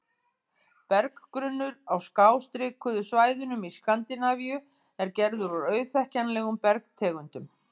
Berggrunnur á skástrikuðu svæðunum í Skandinavíu er gerður úr auðþekkjanlegum bergtegundum.